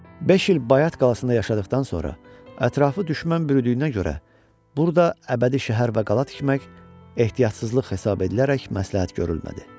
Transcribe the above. Beş il Bayat qalasında yaşadıqdan sonra ətrafı düşmən bürüdüyünə görə burda əbədi şəhər və qala tikmək ehtiyatsızlıq hesab edilərək məsləhət görülmədi.